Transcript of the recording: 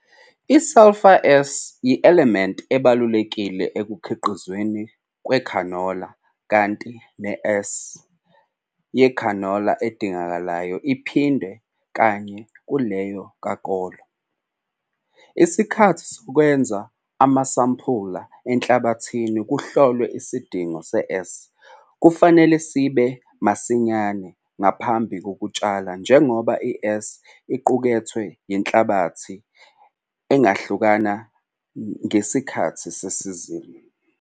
I-Sulphur, S, yi-elementi ebalulekile ekukhiqizweni kwekhanola kanti ne-S yekhanola idingekayo iphindwe kane kuleyo kakolo. Isikhathi sokwenza amasampula enhlabathi kuhlolwe isidingo se-S kufanele sibe masinyane ngaphambi kokutshala njengoba i-S equkethwe yinhlabathi ingahlukana ngesikhathi sesizini.